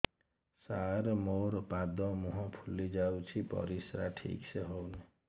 ସାର ମୋରୋ ପାଦ ମୁହଁ ଫୁଲିଯାଉଛି ପରିଶ୍ରା ଠିକ ସେ ହଉନି